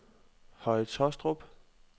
Høje Tåstrup